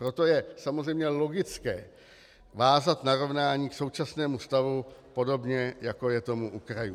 Proto je samozřejmě logické vázat narovnání k současnému stavu, podobně jako je tomu u krajů.